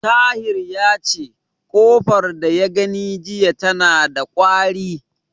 Tahir yace, ƙofar da ya gani jiya tana da ƙwari.